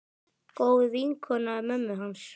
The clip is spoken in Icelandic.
Góð vinkona mömmu hans.